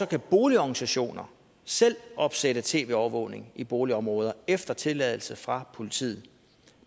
kan boligorganisationer selv opsætte tv overvågning i boligområder efter tilladelse fra politiet